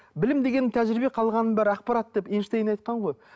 білім дегенім тәжірибе қалғанының бәрі ақпарат деп эйнштейн айтқан ғой